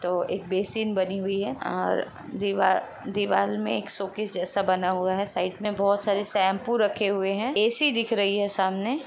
तो एक बेसिन बनी हुई है और दीवाल-दिवाल मे एक शोकेस जैसा बना हुआ है साइड में बहुत सारे शैम्पू रखे हए हैं। एसी दिख रही है सामने।